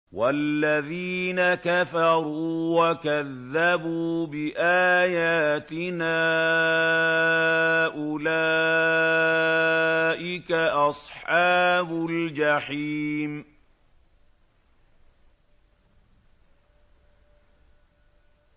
وَالَّذِينَ كَفَرُوا وَكَذَّبُوا بِآيَاتِنَا أُولَٰئِكَ أَصْحَابُ الْجَحِيمِ